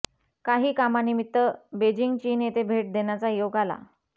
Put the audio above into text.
काही कामानिमित्य बेजिंग चीन येथे भेट देण्याचा योग आला